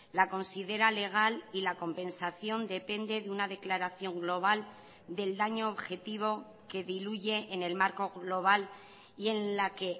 la considera legal y la compensación depende de una declaración global del daño objetivo que diluye en el marco global y en la que